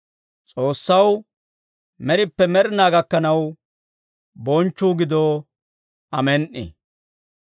S'oossaw med'ippe med'inaa gakkanaw bonchchuu gido. Amen"i.